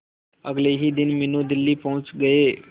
अगले ही दिन मीनू दिल्ली पहुंच गए